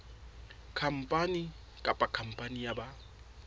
khampani kapa khampani ya ba